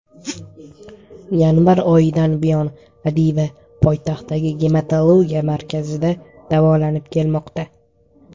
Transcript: Yanvar oyidan buyon Adiba poytaxtdagi Gematologiya markazida davolanib kelmoqda.